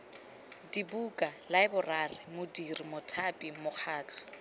dibuka laeborari modiri mothapi mokgatlho